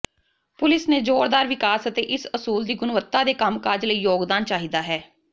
police ਨੇ ਜ਼ੋਰਦਾਰ ਵਿਕਾਸ ਅਤੇ ਇਸ ਅਸੂਲ ਦੀ ਗੁਣਵੱਤਾ ਦੇ ਕੰਮਕਾਜ ਲਈ ਯੋਗਦਾਨ ਚਾਹੀਦਾ ਹੈ